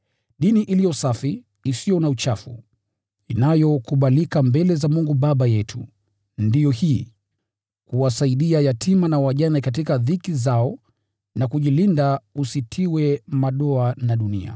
Dini iliyo safi, isiyo na uchafu, inayokubalika mbele za Mungu Baba yetu, ndiyo hii: Kuwasaidia yatima na wajane katika dhiki zao na kujilinda usitiwe madoa na dunia.